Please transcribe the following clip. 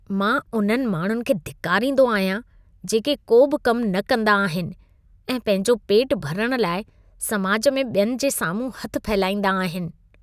मां उन्हनि माण्हुनि खे धिकारींदो आहियां, जेके को बि कम न कंदा आहिनि ऐं पंहिंजो पेट भरण लाइ समाज में ॿियनि जे साम्हूं हथ फहिलाईंदा आहिनि।